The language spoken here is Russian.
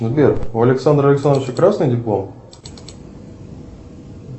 сбер у александра александровича красный диплом